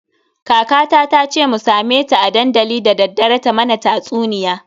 Kaka tace mu same ta a dandali dadaddare ta mana tatsuniya.